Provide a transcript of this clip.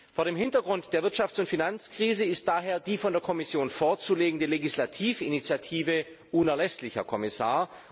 Vor dem Hintergrund der Wirtschafts und Finanzkrise ist daher die von der Kommission vorzulegende Legislativinitiative unerlässlich, Herr Kommissar.